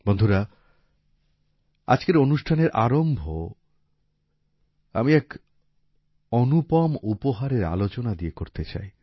বন্ধুরা আজকের অনুষ্ঠানের আরম্ভ আমি এক অনুপম উপহারের আলোচনা দিয়ে করতে চাই